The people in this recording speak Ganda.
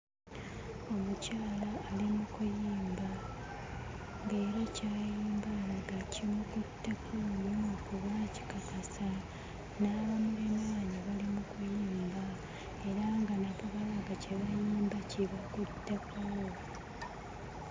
Omukyala ali mu kuyimba nga era ky'ayimba alaga kimukutteko nnyo kuba akikakasa, n'abamuliraanye bali mu kuyimba era nga nabo balaga kye bayimba kibakutteko.